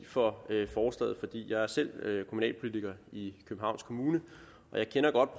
for jeg er selv kommunalpolitiker i københavns kommune og jeg kender godt